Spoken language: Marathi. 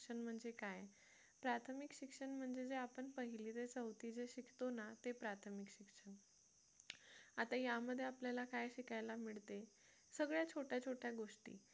म्हणजे काय प्राथमिक शिक्षण म्हणजे जे आपण पहिली ते चौथी जे शिकतो ना ते प्राथमिक शिक्षण आता यामध्ये आपल्याला काय शिकायला मिळते सगळ्या छोट्या छोट्या गोष्टी